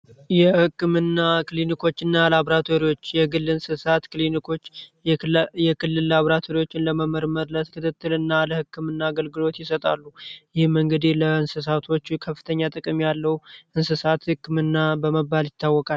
የህክምና ክሊኒኮችና ላቦራቶሪዎች የግል እንስሳት ክሊኒኮች የክልል ላቦራቶሪዎችን ለመመርመር የህክምና እንስሳቶቹ ከፍተኛ ጥቅም ያለው የእንስሳት ህክምና በመባል ይታወቃል።